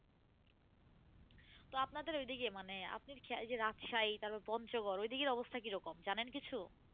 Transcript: তো আপনাদের ঐদিকে মানে আপনি এই যে রাজশাহী তারপর পঞ্চগর্ ঐদিকের অবস্থা কি রকম? জানেন কিছু।